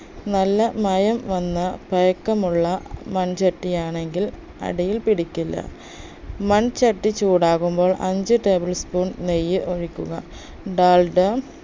നല്ല മയം വന്ന പഴക്കമുള്ള മൺചട്ടിയാണെങ്കിൽ അടിയിൽ പിടിക്കില്ല മൺചട്ടി ചൂടാകുമ്പോൾ അഞ്ച്‌ table spoon നെയ്യ് ഒഴിക്കുക ഡാൽഡ